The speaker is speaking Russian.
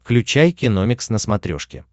включай киномикс на смотрешке